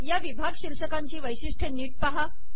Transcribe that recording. या विभाग शीर्षकांची वैशिष्ट्ये नीट पहा